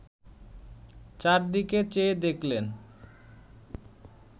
চারদিকে চেয়ে দেখলেন